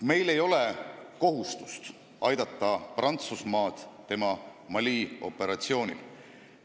Meil ei ole kohustust aidata Prantsusmaad tema Mali operatsioonil.